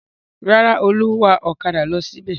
Rárá, Olú ń wa ọ̀kadà lọ síbẹ̀.